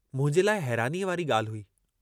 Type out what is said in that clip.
मुंहिंजे लाइ हैरानीअ वारी गाल्हि हुई।